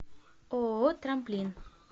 ооо трамплин